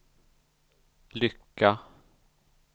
lycka